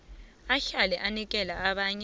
ahlale anikela abanye